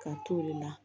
Ka t'o de la